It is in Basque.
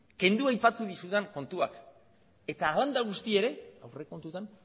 kendu aipatu dizudan kontuak eta hala eta guztiz ere aurrekontuetan